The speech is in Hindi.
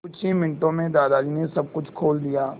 कुछ ही मिनटों में दादाजी ने सब कुछ खोल दिया